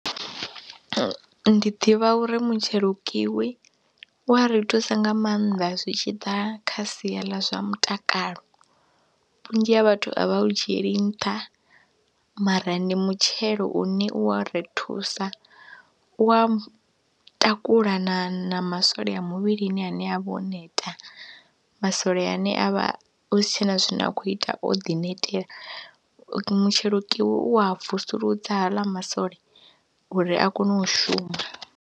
Ndi ḓivha uri mutshelo kiwi u a ri thusa nga maanḓa zwi tshi ḓa kha sia ḽa zwa mutakalo, vhunzhi ha vhathu a vha u dzhieli nṱha mara ndi mutshelo une u wa ri thusa, u wa takula na na masole a muvhilini ane a vha o neta, masole ane a vha hu si tshe na zwine a khou ita o ḓi netela. Mutshelo kiwi u wa vusuludza haḽa masole uri a kone u shuma.